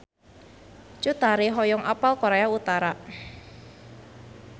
Cut Tari hoyong apal Korea Utara